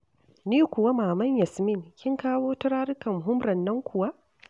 Ni kuwa Maman Yasmin kin kawo turarukan humrar nan kuwa?